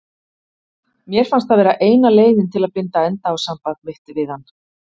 Mér fannst það vera eina leiðin til að binda enda á samband mitt við hann.